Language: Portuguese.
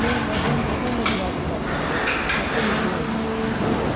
Não, mas vamos vamos debaixo da cama, é perigoso.